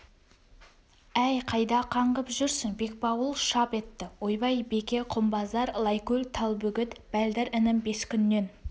әй қайда қаңғып жүрсің бекбауыл шап етті ойбай беке құмбазар лайкөл талбөгет бәлдір інің бес күннен